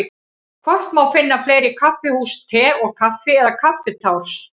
Hvort má finna fleiri kaffihús Te og Kaffi eða Kaffitárs?